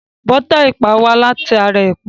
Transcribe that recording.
Bọ́tà ẹ̀pà wá láti ara ẹ̀pà.